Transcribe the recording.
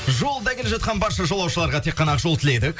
жолда келе жатқан барша жолаушыларға тек қана ақ жол тіледік